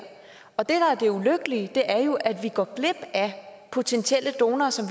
og det der er det ulykkelige er jo at vi går glip af potentielle donorer som